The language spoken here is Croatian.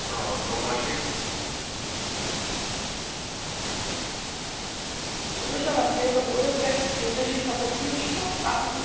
Podržavam prijedlog uredbe jer držim kako je ključno maknuti politiku iz statistike kako bismo vratili povjerenje građana u struku i institucije.